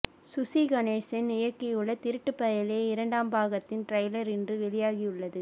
சுசி கணேசன் இயக்கியுள்ள திருட்டுப் பயலே இரண்டாம் பாகத்தின் டிரைலர் இன்று வெளியாகியுள்ளது